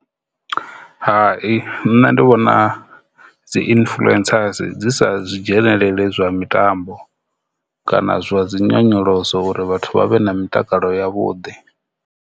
Hai, nṋe ndi vhona dzi influencers dzi sa zwi dzhenelele zwa mitambo kana zwa dzi nyonyoloso uri vhathu vha vhe na mitakalo ya vhuḓi.